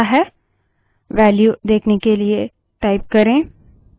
यह वर्तमान सक्रिय यूजर के यूजरनेम को संग्रहीत करता है